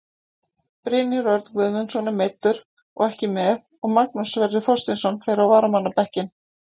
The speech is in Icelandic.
Brynjar Örn Guðmundsson er meiddur og ekki með og Magnús Sverrir Þorsteinsson fer á varamannabekkinn.